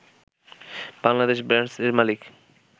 বাংলাদেশ ব্রান্ডস-এর মালিক